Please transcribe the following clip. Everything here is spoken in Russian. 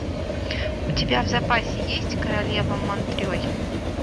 у тебя в запасе есть королева монтрей